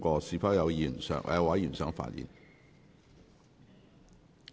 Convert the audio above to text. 是否有委員想發言？